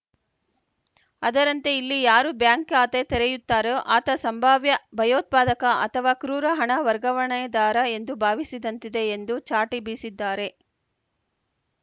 ಅದರಂತೆ ಇಲ್ಲಿ ಯಾರು ಬ್ಯಾಂಕ್‌ ಖಾತೆ ತೆರೆಯುತ್ತಾರೋ ಆತ ಸಂಭಾವ್ಯ ಭಯೋತ್ಪಾದಕ ಅಥವಾ ಕ್ರೂರ ಹಣ ವರ್ಗಾವಣೆದಾರ ಎಂದು ಭಾವಿಸಿದಂತಿದೆ ಎಂದೂ ಚಾಟಿ ಬೀಸಿದ್ದಾರೆ